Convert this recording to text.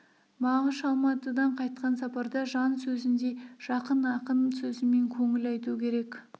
мағаш алматыдан қайтқан сапарда жан сөзіндей жақын ақын сөзімен көңіл айту керек